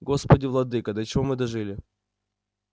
господи владыко до чего мы дожили